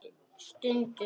Stundum bara egg eða skyr.